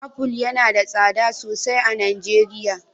Apple yana da tsada sosai a Najeriya.